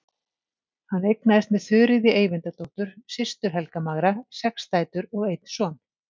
Hann eignaðist með Þuríði Eyvindardóttur, systur Helga magra, sex dætur og einn son.